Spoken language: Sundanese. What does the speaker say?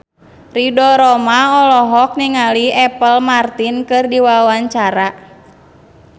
Ridho Roma olohok ningali Apple Martin keur diwawancara